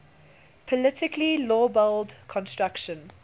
politically lowballed construction